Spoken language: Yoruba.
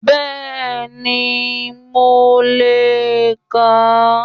Bẹ́ẹ̀ni, mo lè kà á